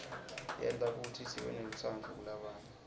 yenta kutsi sibenelutsandvo kulabanye